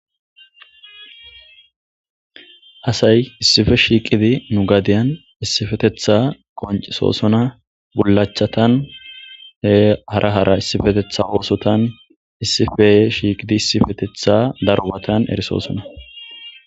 Asay issife shiiqidi nu gadiyan issifetetha qoncesosona bullachatan hara hara issifetetha oosotan issifeye shiiqidi issifetetha darbatan erisoosona.